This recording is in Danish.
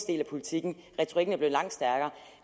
del af politikken retorikken er blevet langt stærkere